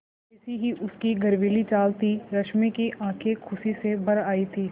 वैसी ही उसकी गर्वीली चाल थी रश्मि की आँखें खुशी से भर आई थीं